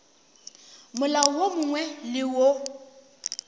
molao wo mongwe le wo